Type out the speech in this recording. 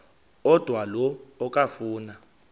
odwa la okafuna